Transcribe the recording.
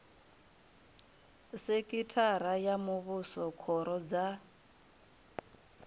sekhithara ya muvhuso khoro dza